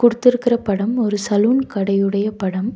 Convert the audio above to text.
குடுத்துருக்குற படம் ஒரு சலூன் கடையோடைய படம்.